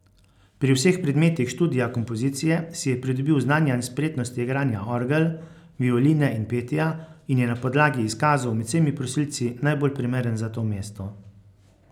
Pri vseh predmetih študija kompozicije si je pridobil znanja in spretnosti igranja orgel, violine in petja, in je na podlagi izkazov med vsemi prosilci najbolj primeren za to mesto.